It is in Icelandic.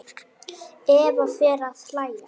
Eva fer að hlæja.